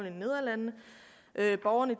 i nederlandene og at borgerne